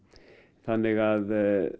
þannig að